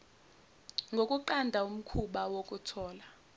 zokunqanda umkhuba wokuthola